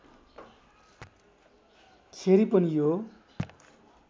खेरि पनि यो